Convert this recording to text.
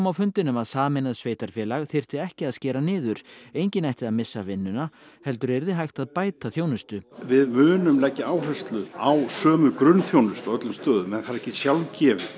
fundinum að sameinað sveitarfélag þyrfti ekki að skera niður enginn ætti að missa vinnuna heldur yrði hægt að bæta þjónustu við munum leggja áherslu á sömu grunnþjónustu á öllum stöðum en það er ekki sjálfgefið